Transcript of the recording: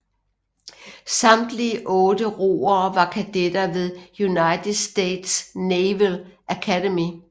Samtlige otte roere var kadetter ved United States Naval Academy